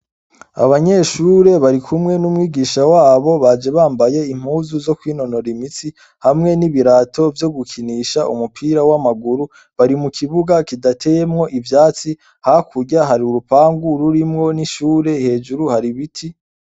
Abanyeshure barikumwe n'umwigisha wabo baje bambaye impuzu zo kwinonora imitsi hamwe n'ibirato vyo gukinisha umupira w'amaguru bari mu kibuga kidateyemwo ivyatsi ha kurya hari urupangu rurimwo n'ishure ,hejuru hari ibiti.